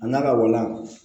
A n'a ka wala